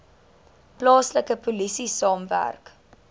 plaaslike polisie saamwerk